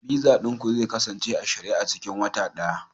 Visa ɗin ku zai kasance a shirye a cikin wata ɗaya